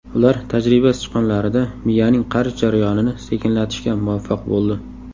Ular tajriba sichqonlarida miyaning qarish jarayonini sekinlatishga muvaffaq bo‘ldi.